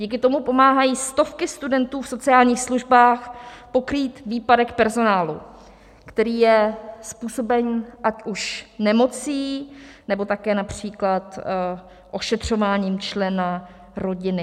Díky tomu pomáhají stovky studentů v sociálních službách pokrýt výpadek personálu, který je způsoben ať už nemocí, nebo také například ošetřováním člena rodiny.